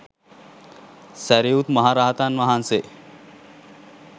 සැරියුත් මහරහතන් වහන්සේ